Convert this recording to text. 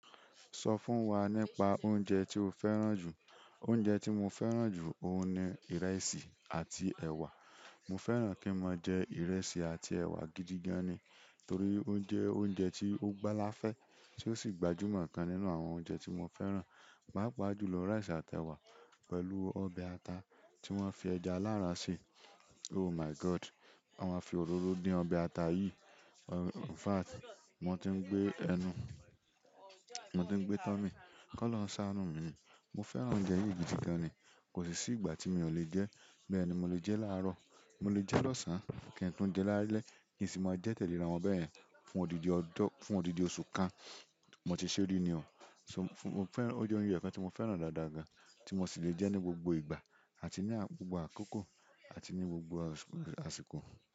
Sọ fún wa nípa oúnjẹ tí o fẹ́ràn jù. Oúnjẹ tí mo fẹ́ràn jù óun ni ìrẹsì àti ẹ̀wà. Mo fẹ́ràn kí n máa jẹ ìrẹsì àti ẹwa gidi gan ni, torí ó jẹ́ oúnjẹ tí ó gbáláfẹ́ tí ó sì gbajúmọ̀ kan nínú àwọn oúnjẹ tí mo fẹ́ràn. Pápá jùlọ ìrẹsì àti ẹ̀wà pẹ̀lú ọbẹ̀ ata tí wọ́n fi ẹja aláran sè. Oh my God! Wọ́n máa fi òróró din ọbẹ̀ ata yìí. In fact, mo ti ń gbé ẹnu, mo ti ń gbé tọ́ mí, kó lọ sánu mi. Mo fẹ́ràn oúnjẹ yìí gidi gan ni, kò sì sí ìgbà tí mi ò lè jẹ. Bẹ́ẹ̀ ni mo lè jẹ́ láàrọ̀, mo lè jẹ́ lọ́sàn-án, kí n tun jẹ́ lálẹ́ kì í sì máa jẹ́ tẹ̀léra wọn bayẹ̀n fún odidi ọdún, fún odidi oṣù kan. Mo ti ṣe rí ni o. So mo fẹ́ràn, ó jẹ́ oúnjẹ kan tí mo fẹ́ràn dáadáa tí mo sì lè jẹ́ ní gbogbo ìgbà àti ní gbogbo àkókò àti ní gbogbo àsìkò.